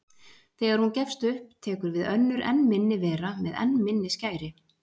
Þegar hún gefst upp tekur við önnur enn minni vera með enn minni skæri.